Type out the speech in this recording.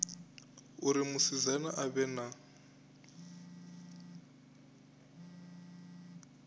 uri musidzana a vhe na